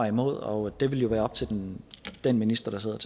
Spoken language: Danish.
imod og det vil jo være op til den den minister der sidder